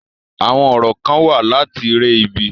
Àwọn orò kán wà láti re ibi.